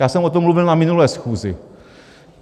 Já jsem o tom mluvil na minulé schůzi.